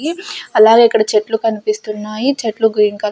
ఈ అలాగే ఇక్కడ చెట్లు కనిపిస్తున్నాయి చెట్లు గ్రీన్ కలర్--